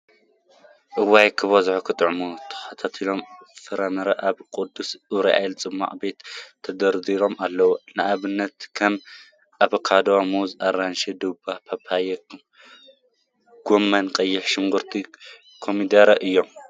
እዋይ! ክበዝሑን ክጥዕሙን ተክሊታትን ፍራምረን አብ ቅዱስ ኡራኤል ፅሟቅ ቤት ተደርዲሮም አለው፡፡ ንአብነት ከም አቨካዶ፣ ሙዝ፣ አራንሺ፣ ዱባ፣ ፓፓዮ፣ ጎመን፣ ቀይሕ ሽጉርቲን ኮሚደረን እዮም፡፡